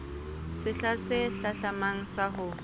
sehla se hlahlamang sa ho